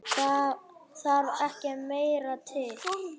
Það þarf ekki meira til.